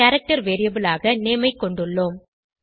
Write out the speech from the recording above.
பின் character variable ஆக name ஐ கொண்டுள்ளோம்